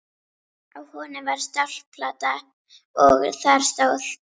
Á honum var stálplata og þar stóð: